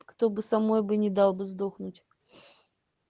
кто бы со мной бы не дал бы сдохнуть